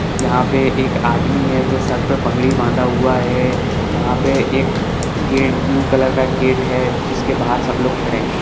यहाँ पे एक आदमी है जो सर पे पगरी बांधा हुआ है यहाँ पे एक गेट ब्लू कलर का गेट है जिसके बाहर सब लोग खड़े है।